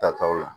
Tataw la